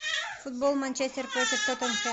футбол манчестер против тоттенхэм